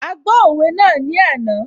A gbọ́ òwe náà ní àná